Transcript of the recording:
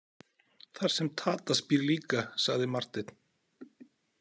Þar sem Tadas býr líka, sagði Marteinn.